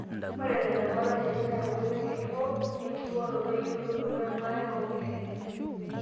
Ore nena temat olchani na nkoitoi ng'ejuko enkibooroto, eyiolounoto,o baare oomoyiritin.